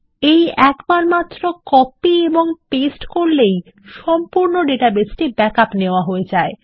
এই একবার মাত্র কপি এবং পেস্ট করলেই সম্পূর্ণ ডাটাবেসটি ব্যাক আপ নেওয়া হয়ে যায়